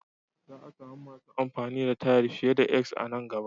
Za a sami masu amfani da Tired fiye da 'X' nan gaba.